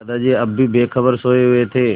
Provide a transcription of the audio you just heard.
दादाजी अब भी बेखबर सोये हुए थे